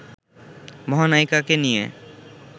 মহানায়িকাকে নিয়ে